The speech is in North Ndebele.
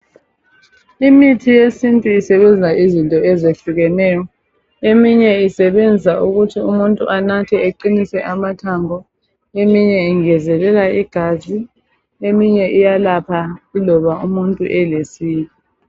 Imithi yesintu isebenza izinto ezehlukeneyo. Eminye isebenza ukuthi umuntu anathe eqinise amathambo, eminye yengezelela igazi, eminye iyalapha yiloba umuntu elesiki.